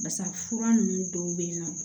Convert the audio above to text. Basa fura nunnu dɔw be yen nɔ